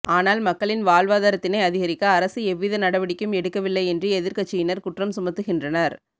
ஆனால் மக்களின் வாழ்வாதாரத்தினை அதிகரிக்க அரசு எவ்வித நடவடிக்கையும் எடுக்கவில்லை என்று எதிர்கட்சியினர் குற்றம் சுமத்துகின்றனர்